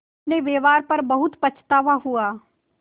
अपने व्यवहार पर बहुत पछतावा हुआ